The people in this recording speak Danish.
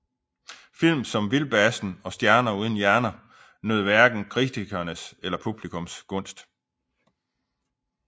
Film som Vildbassen og Stjerner uden hjerner nød hverken kritikernes eller publikums gunst